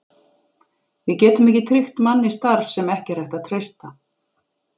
Við getum ekki tryggt manni starf, sem ekki er hægt að treysta.